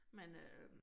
Men øh